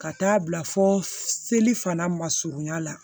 Ka taa bila fo seli fana ma surunya la